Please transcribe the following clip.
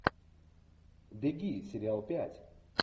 деги сериал пять